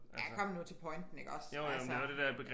Ja kom nu til pointen ik også altså